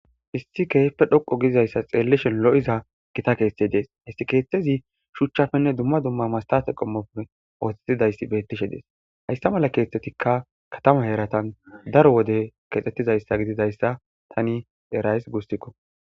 issi keehippe dhoqo giizayssa xeellishe lo'iza gita keeththe dees, hes keeththezi shuchchapenne dumma dumma masha qommope ooththetidayssi beettishe dees haysta mala keeththetikka katama heratan daro wode kexxettizayssa gididayssa tani erays gusuko.